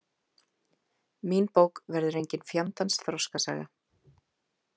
Mín bók verður engin fjandans þroskasaga.